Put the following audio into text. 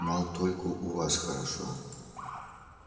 мол только у вас хорошо